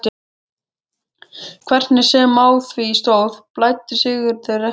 Hvernig sem á því stóð blæddi Sigurði ekki.